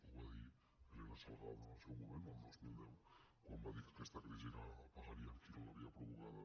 ho va dir elena salgado en el seu moment en el dos mil deu quan va dir que aquesta crisi la pagaria el qui no l’havia provocada